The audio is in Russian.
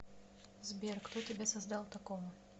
сбер кто тебя создал такого